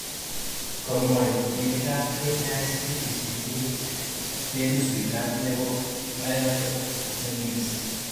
Kamwoy timitab KICD tesisyit nenusu nebo 500MB